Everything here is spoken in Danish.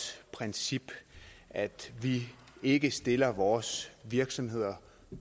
princip at vi ikke stiller vores virksomheder